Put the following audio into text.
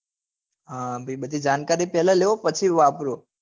હા ભાઈ બધી જાણકારી પહેલા લો પછી વાપરો